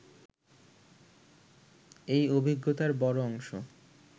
এই অভিজ্ঞতার বড় অংশ